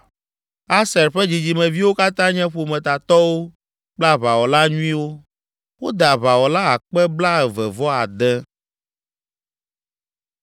Aser ƒe dzidzimeviwo katã nye ƒometatɔwo kple aʋawɔla nyuiwo. Wode aʋawɔla akpe blaeve-vɔ-ade (26,000).